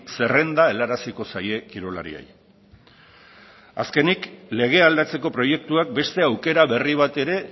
zerrenda helaraziko zaie kirolariei azkenik legea aldatzeko proiektuak beste aukera berri bat ere